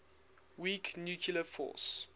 weak nuclear force